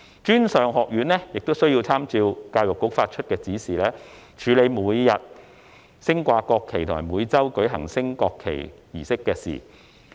專上院校亦須參照教育局局長發出的指示，處理有關每日升掛國旗及每周舉行升國旗儀式的事宜。